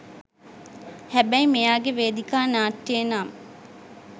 හැබැයි මෙයාගේ වේදිකා නාට්‍යයේ නම්